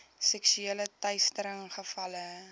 seksuele teistering gevalle